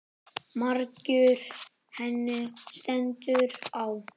Margur henni stendur á.